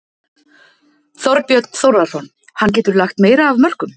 Þorbjörn Þórðarson: Hann getur lagt meira af mörkum?